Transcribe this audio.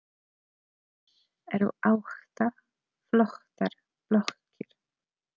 Hér eru átta flottar blokkir.